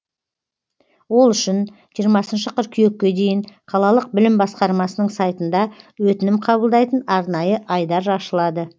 ол үшін жиырмасыншы қыркүйекке дейін қалалық білім басқармасының сайтында өтінім қабылдайтын арнайы айдар ашылады